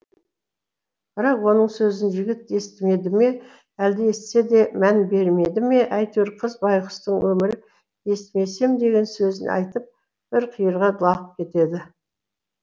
бірақ оның сөзін жігіт естімеді ме әлде естісе де мән бермеді ме әйтеуір қыз байғұстың өмірі естімесем деген сөзін айтып бір қиырға лағып кетеді